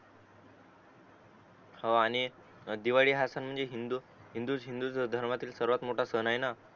हो आणि दिवाळी हा सण म्हणजे हिंदू हिंदू धर्मातील सर्वात मोठा सण आहे ना